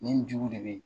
Nin jugu de bɛ yen